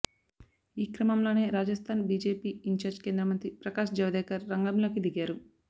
ఈ క్రమంలోనే Rajasthan BJP in charge కేంద్రమంత్రి ప్రకాష్ జవదేకర్ రంగంలోకి దిగారు